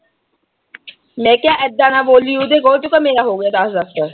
ਮੈਂ ਕਿਆ ਐਦਾਂ ਨਾ ਬੋਲੀਂ। ਉਹਦੇ, ਉਹ ਚ ਤਾਂ ਮੇਰਾ ਹੋਗਿਆ ਦਸ ਦਸ ਵਾਰ।